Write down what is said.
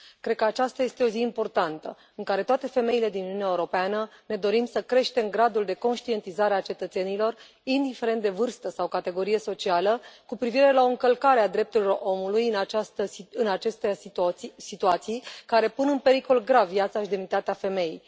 Cred că aceasta este o zi importantă, în care toate femeile din Uniunea Europeană ne dorim să creștem gradul de conștientizare a cetățenilor, indiferent de vârstă sau categorie socială, cu privire la încălcarea drepturilor omului în aceste situații, care pun în pericol grav viața și demnitatea femeii.